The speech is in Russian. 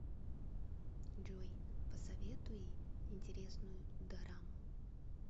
джой посоветуи интересную дораму